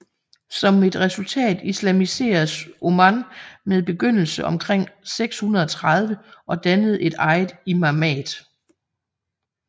Som et resultat islamiseredes Oman med begyndelse omkring år 630 og dannede et eget imamat